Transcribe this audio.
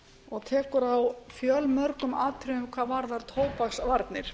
og tekur á fjölmörgum atriðum hvað varðar tóbaksvarnir